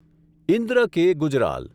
Indra K. Gujral